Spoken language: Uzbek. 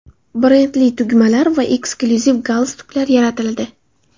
Brendli tugmalar va eksklyuziv galstuklar yaratildi.